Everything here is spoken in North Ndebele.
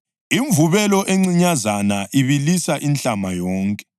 “Imvubelo encinyazana ibilisa inhlama yonke.”